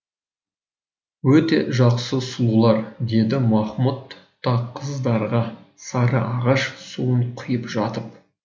өте жақсы сұлулар деді махмұт та қыздарға сарыағаш суын құйып жатып